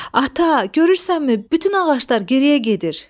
Ata, görürsənmi, bütün ağaclar geriyə gedir.